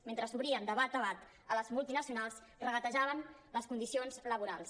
mentre s’obrien de bat a bat a les multinacionals regatejaven les condicions laborals